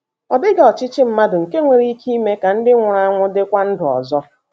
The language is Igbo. Ọ dịghị ọchịchị mmadụ nke nwere ike ime ka ndị nwụrụ anwụ dịkwa ndụ ọzọ.